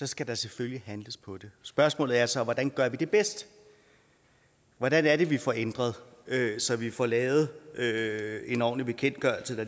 skal der selvfølgelig handles på det spørgsmålet er så hvordan gør vi det bedst hvordan er det vi får ændret det så vi får lavet en ordentlig bekendtgørelse